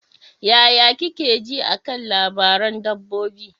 Yaya kike ji a kan labaran dabbobi?